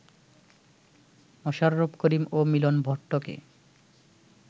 মোশাররফ করিম ও মিলন ভট্টকে